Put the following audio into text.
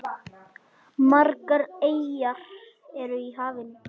Margar eyjar eru í hafinu.